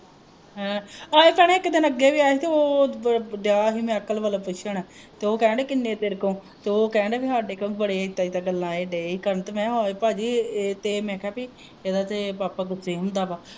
ਹੈ ਹਏ ਭੈਣਾਂ ਇਕ ਦਿਨ ਅੱਗੇ ਵੀ ਆਇਆ ਹੀ ਤੇ ਉਹ ਅਮ ਦਿਆਂ ਹੀ ਵਲੋਂ ਪੁੱਛਣ ਤੇ ਉਹ ਕਹਿਣ ਦੀਆ ਹੀ ਕਿੰਨੇ ਤੇਰੇ ਕੋਲ ਤੇ ਉਹ ਕਹਿਣ ਦੀਆ ਬਾਈ ਹਾਡੇ ਕੋਲ ਬੜੇ ਇਦਾ ਇਦਾ ਗੱਲਾਂ ਇਹ ਦਏ ਹੀ ਕਰਨ ਮੈਂ ਹੋਰ ਬਾਜੀ ਇਹ ਤੇ ਮੈਂ ਕਿਹਾ ਬਈ ਇਹਦਾ ਤੇ ਪਾਪਾ ਗੁੱਸੇ ਹੁੰਦਾ ਵਾ